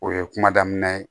O ye kuma daminɛ ye